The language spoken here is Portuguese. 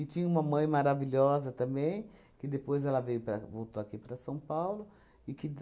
tinha uma mãe maravilhosa também, que depois ela veio para voltou aqui para São Paulo. E que d